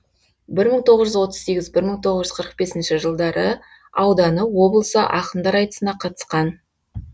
бір мың тоғыз жүз отыз сегіз бір мың тоғыз жүз қырық бесінші жылдары ауданы облысы ақындар айтысына қатысқан